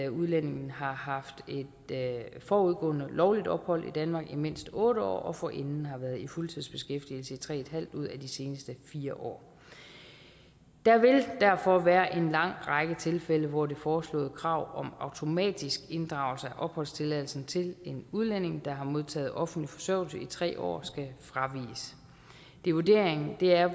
udlændingen har haft forudgående lovligt ophold i danmark i mindst otte år og forinden har været i fuldtidsbeskæftigelse i tre en halv ud af de seneste fire år der vil derfor være en lang række tilfælde hvor det foreslåede krav om automatisk inddragelse af opholdstilladelsen til en udlænding der har modtaget offentlig forsørgelse i tre år skal fraviges vurderingen er